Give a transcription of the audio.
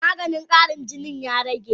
Maganin Karin jinin ya rage?